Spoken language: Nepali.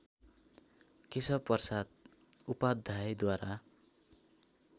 केशवप्रसाद उपाध्यायद्वारा